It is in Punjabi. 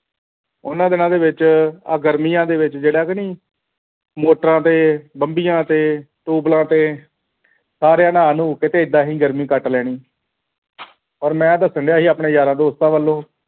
ਉਹਨਾਂ ਦਿਨਾਂ ਦੇ ਵਿਚ ਆਹ ਗਰਮੀਆਂ ਦੇ ਵਿਚ ਜਿਹੜਾ ਕਿ ਨਹੀਂ ਮੋਟਰਾਂ ਤੇ ਬੰਬੀਆਂ ਤੇ tube well ਤੇ ਸਾਰਿਆਂ ਨੇ ਨਾਂਹ ਨੂੰ ਕੇ ਏਦਾਂ ਹੀ ਗਰਮੀ ਕੱਟ ਲੈਣੀ ਔਰ ਮੈਂ ਦਸਨ ਡਆ ਸੀ ਆਪਣੇ ਯਾਰਾਂ ਦੋਸਤਾਂ ਵੱਲੋਂ